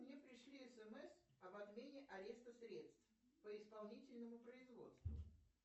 мне пришли смс об отмене ареста средств по исполнительному производству